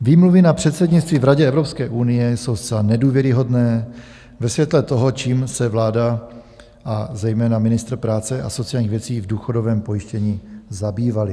Výmluvy na předsednictví v Radě Evropské unie jsou zcela nedůvěryhodné ve světle toho, čím se vláda a zejména ministr práce a sociálních věcí v důchodovém pojištění zabývali.